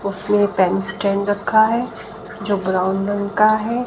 उसमें pen stand रखा हैं जो ब्राउन रंग का हैं।